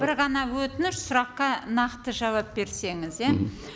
бір ғана өтініш сұраққа нақты жауап берсеңіз иә